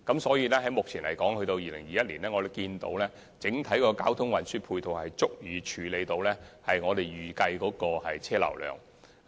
所以，按目前估算，直至2021年，整體交通運輸配套已足以處理我們預計的車流量。